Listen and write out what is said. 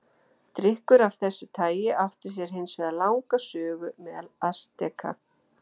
Drykkur af þessu tagi átti sér hins vegar langa sögu meðal Asteka.